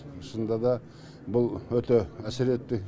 шынында да бұл өте әсер етті